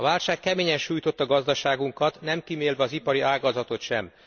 A válság keményen sújtotta gazdaságunkat, nem kímélve az ipari ágazatot sem.